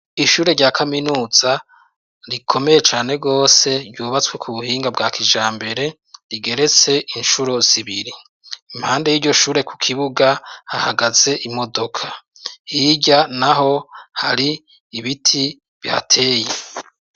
Ishure rya kaminuza rikomeye cane gose ryubatswe ku buhinga bwa kijambere rigeretse incuro zibiri, impande y'iryo shure ku kibuga hahagaze imodoka hirya naho hari ibiti bihateye.